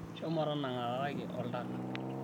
shomo tanangakaki oltaka